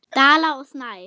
Dala og Snæf.